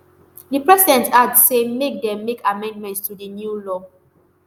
di president add say make dem make amendments to di new law